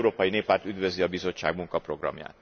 Az Európai Néppárt üdvözli a Bizottság munkaprogramját.